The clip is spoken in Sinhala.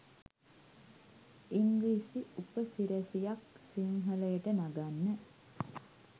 ඉංග්‍රිසි උපසි‍රැසියක් සිංහලට නගන්න